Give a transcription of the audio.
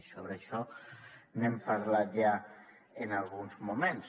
i sobre això n’hem parlat ja en alguns moments